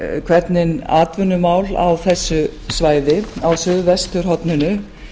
hvernig atvinnumál á þessu svæði verða á suðvesturhorninu